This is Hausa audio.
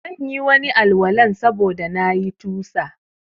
Zanyi Wani Al- walan sabuda na yi tusa